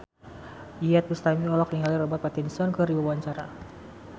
Iyeth Bustami olohok ningali Robert Pattinson keur diwawancara